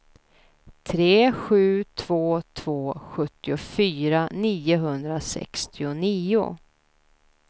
tre sju två två sjuttiofyra niohundrasextionio